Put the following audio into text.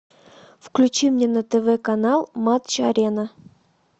включи мне на тв канал матч арена